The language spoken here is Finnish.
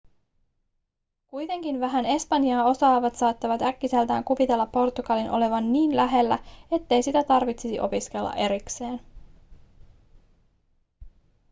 kuitenkin vähän espanjaa osaavat saattavat äkkiseltään kuvitella portugalin olevan niin lähellä ettei sitä tarvitsisi opiskella erikseen